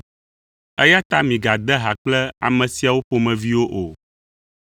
Eya ta migade ha kple ame siawo ƒomeviwo o.